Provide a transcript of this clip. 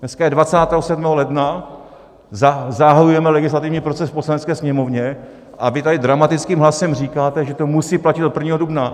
Dneska je 27. ledna, zahajujeme legislativní proces v Poslanecké sněmovně a vy tady dramatickým hlasem říkáte, že to musí platit od 1. dubna.